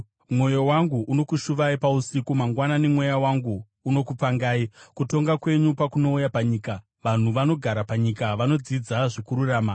Mwoyo wangu unokushuvai pausiku; mangwanani, mweya wangu unokupangai. Kutonga kwenyu pakunouya panyika, vanhu vanogara panyika vanodzidza zvokururama.